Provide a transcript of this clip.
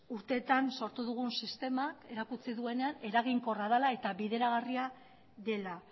urteetan sortu dugun sistema erakutsi duenean eraginkorra dela eta bideragarria dela